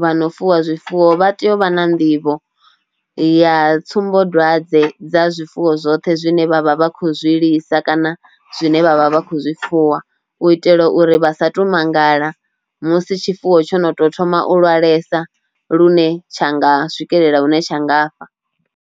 vhano fuwa zwifuwo vha tea u vha na nḓivho ya tsumbodwadze dza zwifuwo zwoṱhe zwine vha vha vha khou zwi lisa kana zwine vha vha vha kho zwifuwa u itela uri vha sa tou mangala musi tshifuwo tsho no tou thoma u lavhelesa lune tsha nga swikelela hune tsha nga fa.